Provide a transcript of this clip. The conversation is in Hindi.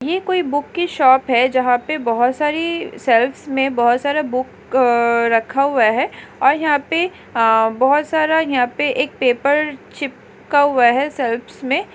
ये कोई बुक की शॉप है जहाँ पे बोहत सारे शेल्वेस में बोहत सारा बुक रखा हुआ है और यहाँ पे बोहत सारा यहाँ पे एक पेपर चिपका हुआ है शेल्वेस मैं --